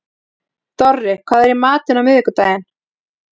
Dorri, hvað er í matinn á miðvikudaginn?